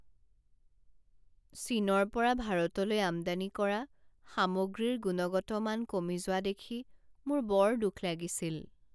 চীনৰ পৰা ভাৰতলৈ আমদানি কৰা সামগ্ৰীৰ গুণগত মান কমি যোৱা দেখি মোৰ বৰ দুখ লাগিছিল।